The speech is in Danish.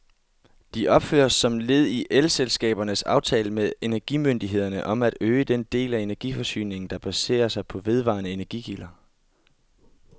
De opføres som led i elselskabernes aftale med energimyndighederne om at øge den del af energiforsyningen, der baserer sig på vedvarende energikilder.